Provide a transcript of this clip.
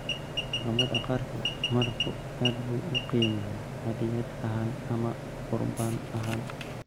Dhaqamada qaarkood, malabku aad buu u qiimeeyaa hadyad ahaan ama qurbaan ahaan.